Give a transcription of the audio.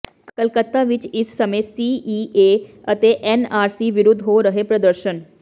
ਕਲੱਕਤਾ ਵਿਚ ਇਸ ਸਮੇਂ ਸੀਏਏ ਅਤੇ ਐਨਆਰਸੀ ਵਿਰੁੱਧ ਹੋ ਰਹੇ ਹਨ ਪ੍ਰਦਰਸ਼ਨ